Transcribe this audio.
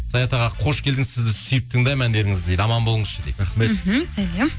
саят аға қош келдіңіз сізді сүйіп тыңдаймын әндеріңізді дейді аман болыңызшы дейді рахмет мхм сәлем